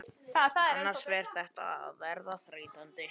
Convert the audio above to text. Annars fer þetta að verða þreytandi.